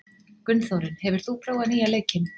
Gunnþórunn, hefur þú prófað nýja leikinn?